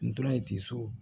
N tora ye ten so